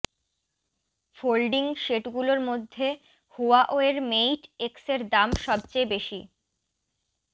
folding সেটগুলোর মধ্যে হুয়াওয়ের মেইট এক্সের দাম সবচেয়ে বেশি